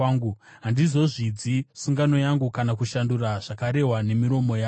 Handizozvidzi sungano yangu kana kushandura zvakarehwa nemiromo yangu.